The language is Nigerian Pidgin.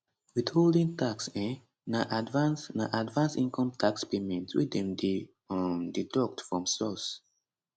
withholding tax um na advance na advance income tax payment wey dem dey um deduct from source